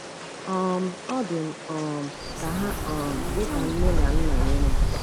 um Ọ dị m um ka ha um dị ka nne na nna nyere m.